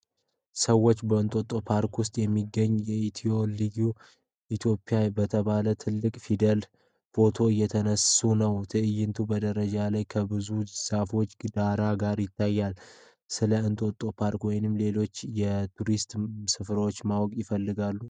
ሰዎች በእንጦጦ ፓርክ ውስጥ በሚገኘው ET H ልብ OPIA በተባለ ትልቅ ፊደል ፎቶ እየተነሱ ነው። ትዕይንቱ በደረጃ ላይ ከብዙ ዛፎች ዳራ ጋር ይታያል። ስለ እንጦጦ ፓርክ ወይም ሌሎች የቱሪስት ስፍራዎች ማወቅ ይፈልጋሉ?